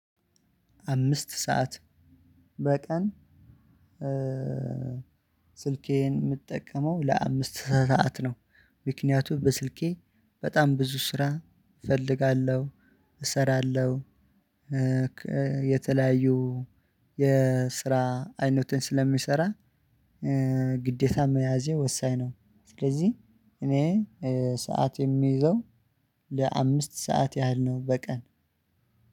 አምስት ሰዓት በቀን ስልኬን የምጠቀመው ለአምስት ሰዓት ነው። ምክንያቱም በስልኬ በጣም ብዙ ስራ እፈልጋለሁ እሰራለሁ። የተለያዩ የስራ አይነትን ስለምሰራ ግዴታ መያዜ ወሳኝ ነው። ስለዚህ እኔ ሰዓት የምይዘው ለአምስት ሰዓት ያህል ነው። በቀን